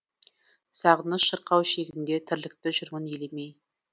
сағыныш шырқау шегінде тірлікті жүрмін елемей